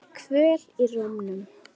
Kvöl í rómnum.